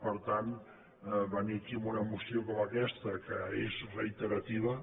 per tant venir aquí amb una moció com aquesta que és reiterativa